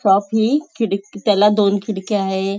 शॉफी खिडकी त्याला दोन खिडक्या आहे.